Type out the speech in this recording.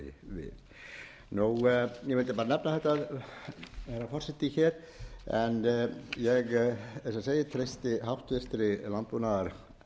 kemur nú kannski ekki mikið þessu máli við ég vildi bara nefna þetta herra forseti hér ég eins og ég segi treysti háttvirtur sjávarútvegs og landbúnaðarnefnd